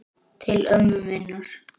Til ömmu minnar.